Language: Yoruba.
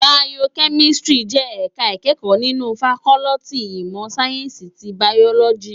Bàyókèmìsítìrí jè èká ikèékò ninú fákòlìtí imò sáyènsí ti bàyólòjí